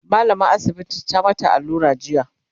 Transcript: mallamar asibitin ta mata allura jiya